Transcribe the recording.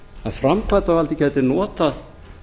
að framkvæmdavaldið gæti notað